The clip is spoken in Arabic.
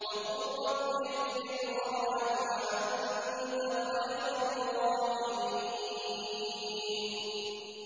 وَقُل رَّبِّ اغْفِرْ وَارْحَمْ وَأَنتَ خَيْرُ الرَّاحِمِينَ